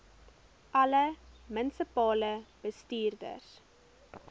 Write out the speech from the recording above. alle munisipale bestuurders